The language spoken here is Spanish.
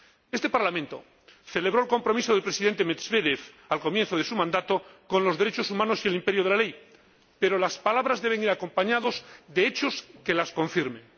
Este Parlamento celebró el compromiso del Presidente Medvédev, al comienzo de su mandato, con los derechos humanos y el imperio de la ley, pero las palabras deben ir acompañadas de hechos que las confirmen.